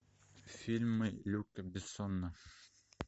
фильмы люка бессона